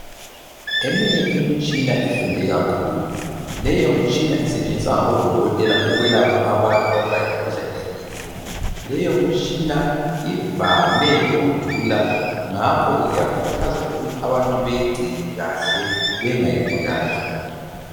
Eminye imitshina ifunde kakhulu, leyo mitshina isetshenziswa ngabodokotela ukwelapha abantu ababulawa yimikhuhlane ehlukeneyo. Leyomitshina ivame ukudula ngakho ke kuyakhuthazwa abantu ukuthi beyigcine kahle bengayibulali